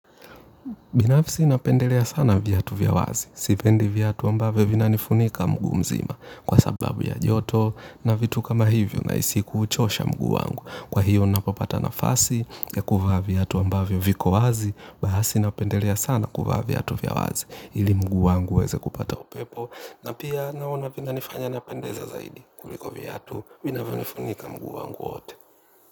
Binafsi napendelea sana viatu vya wazi. Sipendi viatu ambavyo vinanifunika mguu mzima. Kwa sababu ya joto na vitu kama hivyo nahisi kuuchosha mguu wangu. Kwa hiyo napopata nafasi ya kuvaa viatu ambavyo viko wazi. Basi napendelea sana kuvaa viatu vya wazi. Ili mguu wangu uweze kupata upepo. Na pia naona vina nifanya napendeza zaidi kuliko viatu vinavyo nifunika mguu wangu wote.